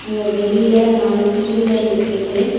இங்க வெளில நாலு டூ வீலர் நிக்கிது.